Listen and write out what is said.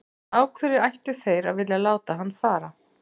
Af hverju ættu þeir að vilja láta hann fara?